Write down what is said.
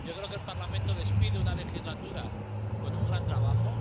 Yo creo que el Parlamento despide una legislatura con un gran trabajo.